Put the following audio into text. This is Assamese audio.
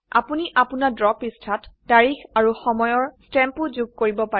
আপোনি আপোনাৰ ড্ৰ পৃষ্ঠাত তাৰিখ আৰু সময়ৰ স্তেম্পো যোগ কৰিব পাৰে